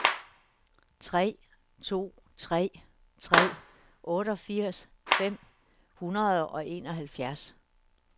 tre to tre tre otteogfirs fem hundrede og enoghalvfjerds